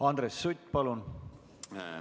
Andres Sutt, palun!